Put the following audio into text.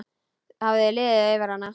Það hafði liðið yfir hana.